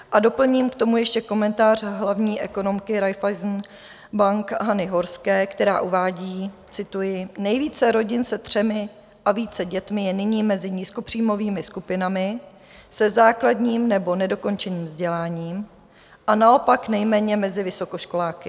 A doplním k tomu ještě komentář hlavní ekonomky Raiffeisen Bank Hany Horské, která uvádí - cituji: Nejvíce rodin se třemi a více dětmi je nyní mezi nízkopříjmovými skupinami se základním nebo nedokončeným vzděláním a naopak nejméně mezi vysokoškoláky.